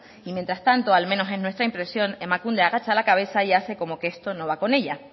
y mientras tanto al menos en nuestra impresión emakunde agacha la cabeza y hace como que esto no va con ella